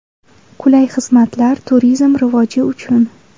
Qulay xizmatlar turizm rivoji uchun.